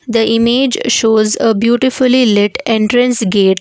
The image shows a beautifully lit entrance gate.